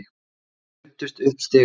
Þær ruddust upp stigann.